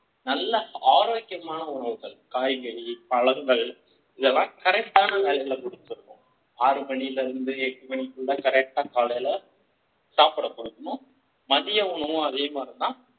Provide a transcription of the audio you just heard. நல்ல ஆரோக்கியமான உணவுகள் காய்கறி பழங்கள் இத எல்லாம் correct டான time ல கொடுத்துடனும் ஆறு மணியிலிருந்து எட்டு மணிக்குள்ள correct டா காலையில சாப்பாடு கொடுக்கணும் மதிய உணவு, அதே மாதிரி தான்